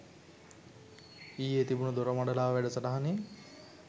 ඊයේ තිබුන දොරමඩලාව වැඩසටහනෙ